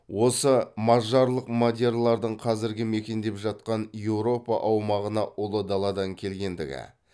осы мажарлық мадиярлардың қазіргі мекендеп жатқан еуропа аумағына ұлы даладан келгендігі